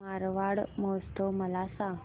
मारवाड महोत्सव मला सांग